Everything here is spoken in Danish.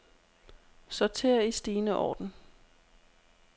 Sorter i stigende orden.